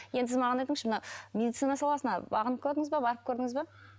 енді сіз маған айтыңызшы мына медицина саласына бағынып көрдіңіз бе барып көрдіңіз бе